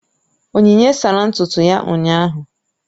Onyinye sara ntutu ya ụnyahụ